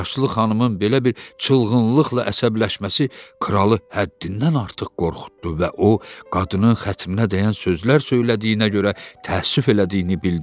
Yaşlı xanımın belə bir çılğınlıqla əsəbləşməsi kralı həddindən artıq qorxutdu və o qadının xətrinə dəyən sözlər söylədiyinə görə təəssüf elədiyini bildirdi.